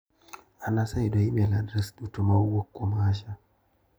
An aseyudo imel adres duto ma owuok kuom Asha.